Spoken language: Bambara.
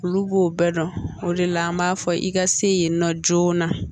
Olu b'o bɛɛ dɔn o de la an b'a fɔ i ka se yen nɔ joona